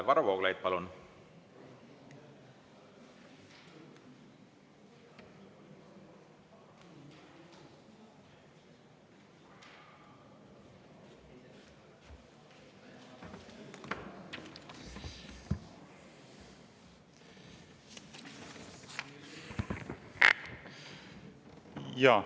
Varro Vooglaid, palun!